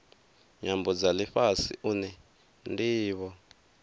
nyambo dza lifhasi une ndivho